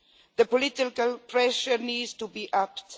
The political pressure needs to be upped.